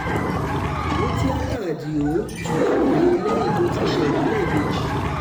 mutíátá àdìo tún rẹ́wọ̀n he lẹ́yìn tó ti ṣẹ̀wọ̀n lẹ́ẹ̀mejì